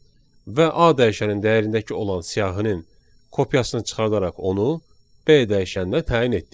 və a dəyişənin dəyərindəki olan siyahının kopyasını çıxardaraq onu b dəyişənnə təyin etdik.